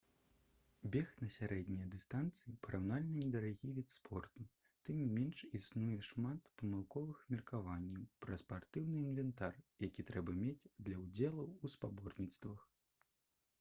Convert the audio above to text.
бег на сярэднія дыстанцыі параўнальна недарагі від спорту тым не менш існуе шмат памылковых меркаванняў пра спартыўны інвентар які трэба мець для ўдзелу ў спаборніцтвах